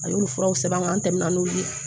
A y'olu furaw sɛbɛn an kan an tɛmɛna n'olu ye